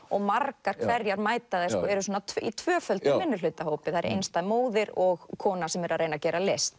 og margar hverjar eru svona í tvöföldum minnihlutahópi það er einstæð móðir og kona sem er að reyna að gera list